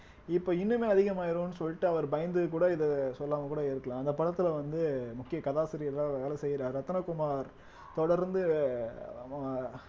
இப்ப இன்னுமே அதிகமாயிரும்ன்னு சொல்லிட்டு அவர் பயந்து கூட இத சொல்லாம கூட இருக்கலாம் அந்த படத்தில வந்து முக்கிய கதாசிரியர்களா வேலை செய்ற ரத்தினகுமார் தொடர்ந்து அஹ்